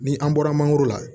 Ni an bɔra mangoro la